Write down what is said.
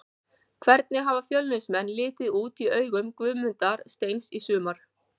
Hvernig hafa Fjölnismenn litið út í augum Guðmundar Steins í sumar?